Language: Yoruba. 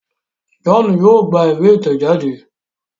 John yóò gbà ìwé itẹjade.